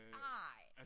Ej!